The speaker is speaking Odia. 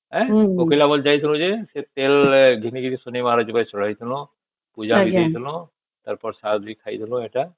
କୋକିଲା ବନ ଯାଇଥିଲୁ ଯେ ସେ ତେଲ ଘିନି କି ଶନିବାର ଯିବା ଚଢେଇବା ନ ପୂଜା କରିବା ନା ଆଉ ପ୍ରସାଦ ବି ଖାଇବା ଏଟା